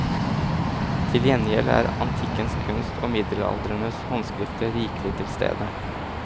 Til gjengjeld er antikkens kunst og middelalderens håndskrifter rikelig til stede.